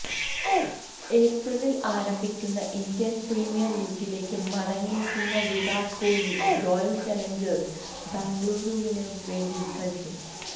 ഏപ്രിലിൽ ആരംഭിക്കുന്ന Indian premier ലീഗിലേക്ക് മടങ്ങിയെത്തുന്ന വിരാട് കോഹ്ലി റോയൽ ചലഞ്ചേഴ്സ് ബെംഗളൂരുവിന് വേണ്ടി കളിക്കും